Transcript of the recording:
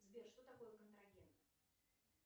сбер что такое контрагент